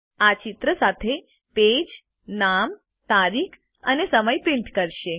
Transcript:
આ ચિત્ર સાથે પેજ નામ તારીખ અને સમય પ્રિન્ટ કરશે